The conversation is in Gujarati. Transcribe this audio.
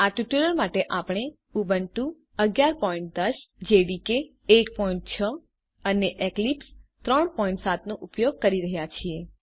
આ ટ્યુટોરીયલ માટે આપણે ઉબુન્ટુ 1110 જેડીકે 16 અને એક્લિપ્સ 37 નો ઉપયોગ કરી રહ્યા છીએ